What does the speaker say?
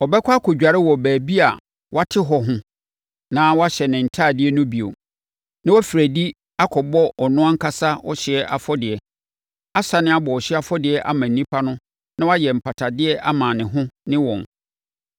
Ɔbɛkɔ akɔdware wɔ baabi a wɔate hɔ ho na wahyɛ ne ntadeɛ no bio na wafiri adi akɔbɔ ɔno ankasa ɔhyeɛ afɔdeɛ asane abɔ ɔhyeɛ afɔdeɛ ama nnipa no na wayɛ mpatadeɛ ama ne ho ne wɔn.